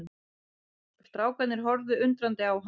Strákarnir horfðu undrandi á hann.